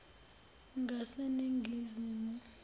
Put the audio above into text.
ngaseningizimu